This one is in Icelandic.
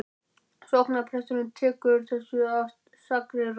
Sóknarpresturinn tekur þessu af stakri ró.